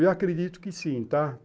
Eu acredito que sim, tá?